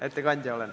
Ettekandja olen.